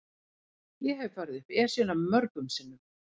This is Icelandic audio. Ég hef farið upp Esjuna mörgum sinnum.